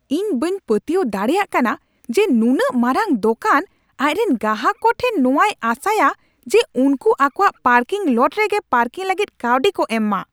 ᱤᱧ ᱵᱟᱹᱧ ᱯᱟᱹᱛᱭᱟᱹᱣ ᱫᱟᱲᱮᱭᱟᱜ ᱠᱟᱱᱟ ᱡᱮ ᱱᱩᱱᱟᱹᱜ ᱢᱟᱨᱟᱝ ᱫᱚᱠᱟᱱ ᱟᱡᱨᱮᱱ ᱜᱟᱦᱟᱠ ᱠᱚ ᱴᱷᱮᱱ ᱱᱚᱣᱟᱭ ᱟᱥᱟᱼᱟ ᱡᱮ ᱩᱱᱠᱩ ᱟᱠᱚᱣᱟᱜ ᱯᱟᱨᱠᱤᱝ ᱞᱚᱴ ᱨᱮᱜᱮ ᱯᱟᱨᱠᱤᱝ ᱞᱟᱹᱜᱤᱫ ᱠᱟᱹᱣᱰᱤ ᱠᱚ ᱮᱢ ᱢᱟ ᱾